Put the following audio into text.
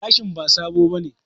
Gashin ba sabo bane